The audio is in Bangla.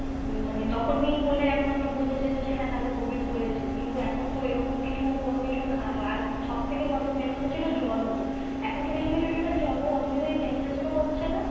মানে তখনি হলে একমাত্র বোঝা যেত যে হ্যাঁ তাদের covid হয়েছে কিন্তু এখন তো ওইরকম কিছু কোনো কিছু, আর সব থেকে বড় main কোথা ছিল জ্বর হতো এখন তো কিছু কিছু জনের জ্বর ও অতো বেশি temperatue ও হচ্ছে না,